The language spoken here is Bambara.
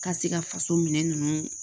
Ka se ka faso minɛn ninnu